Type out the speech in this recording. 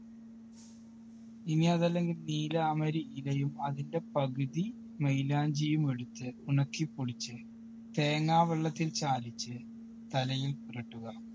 ഇനി അതല്ലെങ്കിൽ നീലാംബരി ഇലയും അതിൻറെ പകുതി മൈലാഞ്ചിയും എടുത്ത് ഉണക്കി പൊടിച്ച് തേങ്ങാവെള്ളത്തിൽ ചാലിച്ച് തലയിൽ പുരുട്ടുക.